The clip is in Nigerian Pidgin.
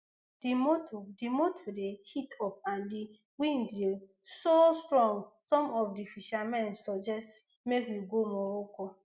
di motor di motor dey heat up and di wind dey so strong some of di fishermen suggest make we go morocco